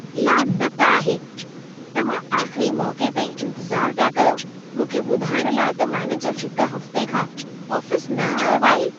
लानत आहे! तव्हां आख़िरी मौक़े ताईं इंतज़ार पिया कयो मूंखे ॿुधाइण लाइ त मैनेजर हिक हफ़्ते खां आफ़िस न आयो आहे।